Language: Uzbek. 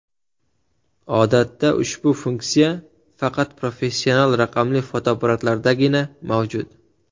Odatda ushbu funksiya faqat professional raqamli fotoapparatlardagina mavjud.